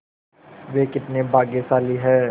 वे कितने भाग्यशाली हैं